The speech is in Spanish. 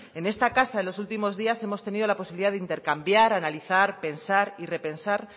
en esta casa en los últimos días hemos tenido la posibilidad de intercambiar analizar pensar y repensar